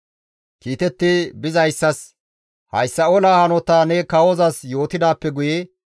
Kiitetti bizayssas, «Hayssa olaa hanotaa ne kawozas yootidaappe guye,